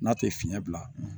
N'a tɛ fiɲɛ bila